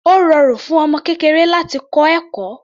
Ó rọrùn fún ọmọ kékeré láti kọ́ ẹ̀kọ́.